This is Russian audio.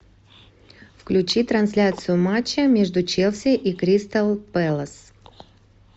включи трансляцию матча между челси и кристал пэлас